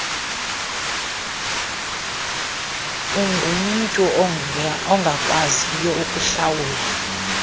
ungumntu ongakwaziyo ukuhlawula